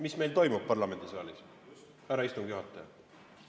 Mis meil toimub parlamendisaalis, härra istungi juhataja?